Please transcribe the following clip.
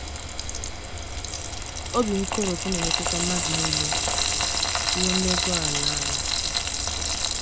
OBI nkoropụ na - emetụta mmadụ nile ,rụo na ogo ala. ala.